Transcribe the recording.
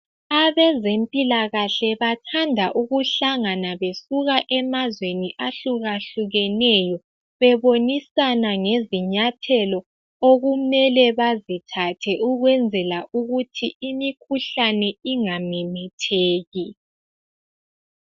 Abezempilakahle bathanda ukuhlangana besuka emazweni ahlukahlukeneyo bebonisana ngezinyathelo okumele bazithathe ukwenzela ukuthi imikhuhlane ingamemetheki.